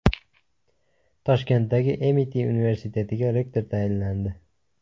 Toshkentdagi Amiti universitetiga rektor tayinlandi.